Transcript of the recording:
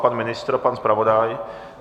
Pan ministr, pan zpravodaj?